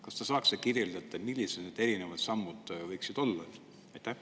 Kas te saaks kirjeldada, millised need erinevad sammud võiksid olla?